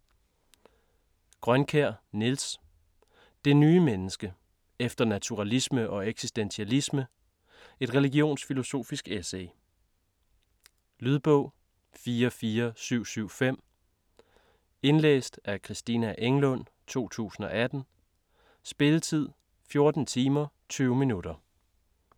Grønkjær, Niels: Det nye menneske: efter naturalisme og eksistentialisme: et religionsfilosofisk essay Lydbog 44775 Indlæst af Christina Englund, 2018. Spilletid: 14 timer, 20 minutter.